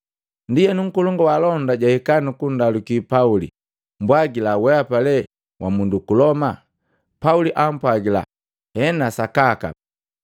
Ndienu nkolongu wa alonda jahika nukundaluki Pauli, “Mbwagila, wehapa lee wa mundu uku Loma?” Pauli ampwagila “Hena sakaka.”